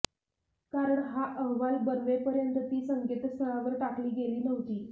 कारण हा अहवाल बनवेपर्यंत ती संकेतस्थळावर टाकली गेली नव्हती